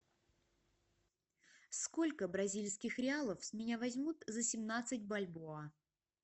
сколько бразильских реалов с меня возьмут за семнадцать бальбоа